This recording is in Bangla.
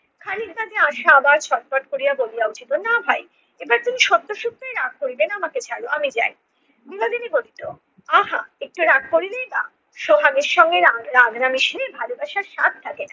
খানিক বাদে আশা আবার ছটফট করিয়া বলিয়া উঠিলো না ভাই এবার তিনি সত্য সত্যই রাগ করিবেন না আমাকে ছাড়ো আমি যাই। বিনোদিনী বলিত আহা একটু রাগ করিলেই বা সোহাগের সঙ্গে রা~ রাগ রাগ না মিশিলে ভালোবাসার স্বাদ থাকে না।